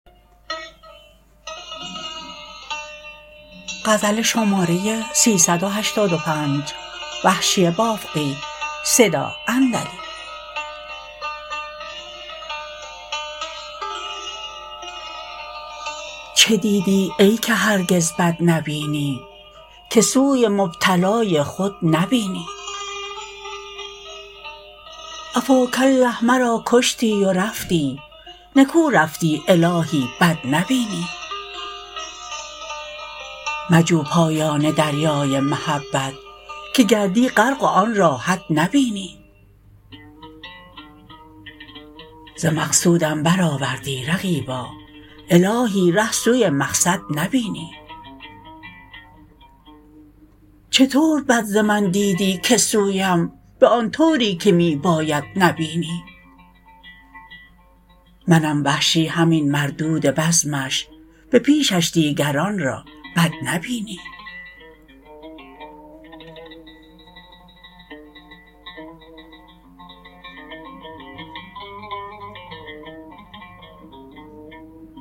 چه دیدی ای که هرگز بد نبینی که سوی مبتلای خود نبینی عفا ک اله مرا کشتی و رفتی نکو رفتی الاهی بد نبینی مجو پایان دریای محبت که گردی غرق و آنرا حد نبینی ز مقصودم بر آوردی رقیبا الاهی ره سوی مقصد نبینی چه طور بد ز من دیدی که سویم به آن طوری که می باید نبینی منم وحشی همین مردود بزمش به پیشش دیگران را بد نبینی